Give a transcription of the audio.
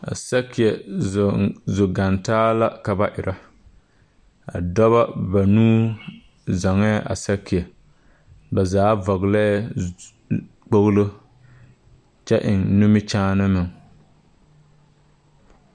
A sakeɛ zɔŋ zo gaŋ taa la ka ba erɛ a dɔba banuu zɔŋɛɛ a sakeɛ ba zaa vɔglɛɛ zu kpoglo kyɛ eŋ nimikyaane meŋ.